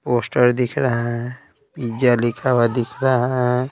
Poster दिख रहा है पिज़्जा लिखा हुआ दिख रहा है ।